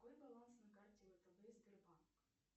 какой баланс на карте втб сбербанк